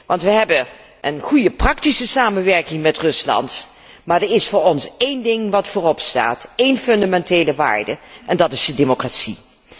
Want we hebben een goede praktische samenwerking met Rusland, maar er is voor ons één ding dat voorop staat, één fundamentele waarde, en dat is de democratie.